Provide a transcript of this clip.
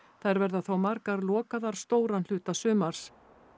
þær verða þó margar lokaðar stóran hluta sumars